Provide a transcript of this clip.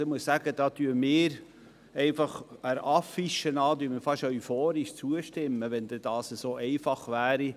Ich muss sagen, da stimmen wir einfach der Affiche nach fast euphorisch zu, wenn das denn so einfach wäre.